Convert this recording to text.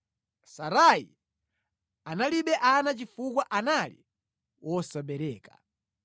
Sarai analibe ana chifukwa anali wosabereka.